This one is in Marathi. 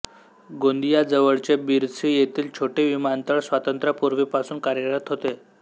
गोंदियाजवळचे बिरसी येथील छोटे विमानतळ स्वातंत्र्यापूर्वीपासून कार्यरत होते